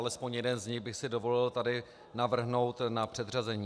Alespoň jeden z nich bych si dovolil tady navrhnout na předřazení.